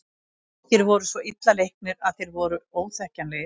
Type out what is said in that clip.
Margir voru svo illa leiknir að þeir voru óþekkjanlegir.